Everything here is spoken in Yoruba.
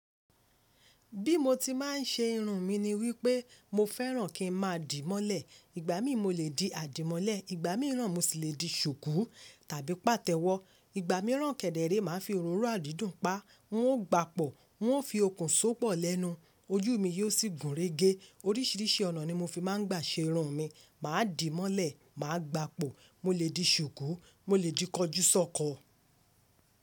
Bí mo ti máa ń ṣe irun mi ni wípé mo fẹ́ràn kí n máa dìí mọ́lẹ̀. Ìgbà mi mo lè di àdìmọ́lẹ̀, ìgbà mìíràn mo sì lè di ṣùkú tàbí pàtẹ́wọ́. Ìgbà mìíràn kẹ̀dẹ̀ẹ̀ré màá fi òróró àdídùn pá, un ó gba pọ̀, un ó fi okùn só pọ̀ lẹ́nu, ojú mi yóò sì gùn régé. Oríṣìíríṣìí ọ̀nà ni mo fi máa ń gbà ṣe irun mi. Mà á dìí mọ́lẹ̀, mà á gba pọ̀, mo lè di ṣùkú, mo lè di kọjúsọ́kọ.